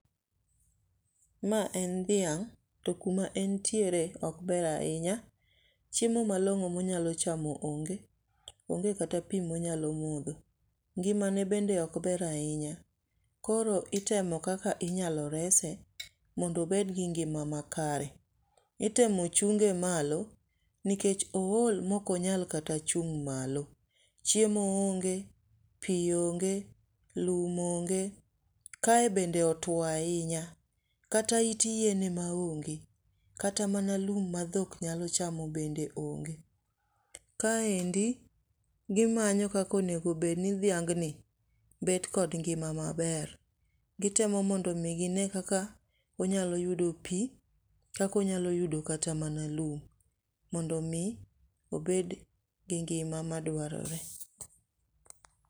Ma en dhiang' to kuma entiere ok ber ahinya, chiemo malong'o monyalo chamo onge, onge kata pi monyalo modho, ngimane bende ok ber ahinya koro itemo kaka inyalo rese mondo obed gi ngima makare. Itemo chunge malo nikech ool maok onyal kata chung' malo. Chiemo onge, pi onge, lum onge kae bende otuo ahinya kata it yien ema onge. Kata mana lum ma dhok nyalo chamo bende onge. Kaendi gimanyo kaka dhing'ni bet kod ngima m,aber. Gitemo mondo gine kaka onyalo yudo pi, kaka onyalo yudo kata mana lum mondo mi obed gi ngima madwarore.